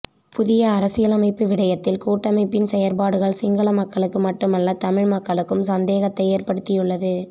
புதிய அரசியலமைப்பு விடயத்தில் கூட்டமைப்பின் செயற்பாடுகள் சிங்கள மக்களுக்கு மட்டுமல்ல தமிழ் மக்களுக்கும் சந்தேகத்தை ஏற்படுத்தியுள்ளது